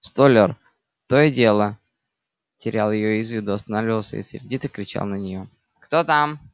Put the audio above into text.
столяр то и дело терял её из виду останавливался и сердито кричал на нее кто там